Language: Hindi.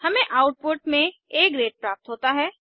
हमें आउटपुट में आ ग्रेड प्राप्त होता है